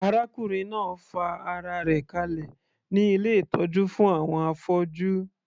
Arákùnrin náà fa ara rẹ̀ kalẹ̀ ní ilé ìtọ́jú fún àwọn afọ́jú.